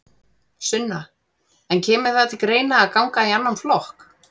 Sunna: En kemur það til greina að ganga í annan flokk?